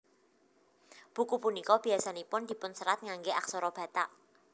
Buku punika biasanipun dipunserat ngangge aksara Batak